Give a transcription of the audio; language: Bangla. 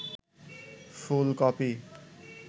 ফুলকপি